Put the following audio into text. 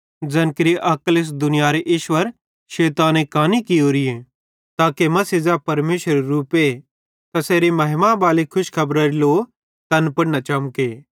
ते तैन विश्वास न केरनेबालां केरे लेइ ज़ैन केरे अक्ल इस दुनियारे ईश्वर शैताने कानी कियोरीए ताके मसीह ज़ै परमेशरेरू रूपे तैसेरी महिमा खुशखेबरारी लो तैन पुड़ न चमके